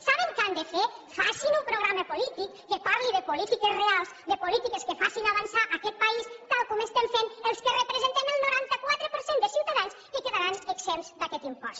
saben què han de fer facin un programa polític que parli de polítiques reals de polítiques que facin avançar aquest país tal com estem fent els que representem el noranta quatre per cent de ciutadans que quedaran exempts d’aquest impost